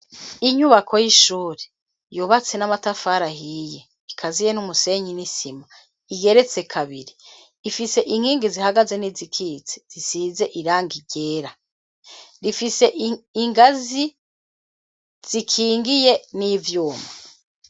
Inyubako y'ishuri, yubatse n'amatafari ahiye, ikaziye n'umusenyi n'isima, igeretse kabiri, ifise inkingi zihagaze n'izikitse, zisize irangi ryera, rifise ingazi, zikingiye n'ivyuma.